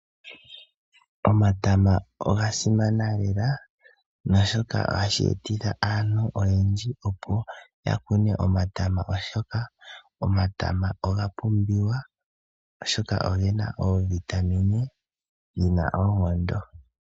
Omatama ogasimana lela naashoka ohashi etitha aantu oyendji opo yakune omatama, oshoka omatama oga pumbiwa oshoka ogena iitungithi yina oonkondo.